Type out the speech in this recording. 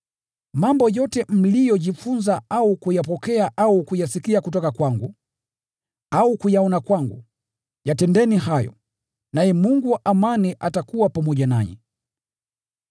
Mambo yote mliyojifunza au kuyapokea au kuyasikia kutoka kwangu, au kuyaona kwangu, yatendeni hayo. Naye Mungu wa amani atakuwa pamoja nanyi.